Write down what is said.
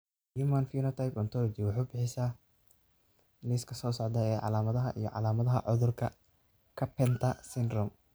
The Human Phenotype Ontology wuxuu bixiyaa liiska soo socda ee calaamadaha iyo calaamadaha cudurka Carpenter syndrome.